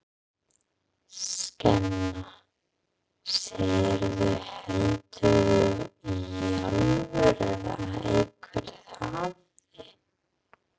Skemma, segirðu. heldurðu í alvöru að einhver hafi.